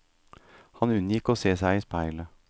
Han unngikk å se seg i speilet.